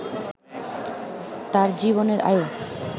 তাঁর জীবনের আয়ু